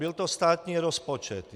Byl to státní rozpočet.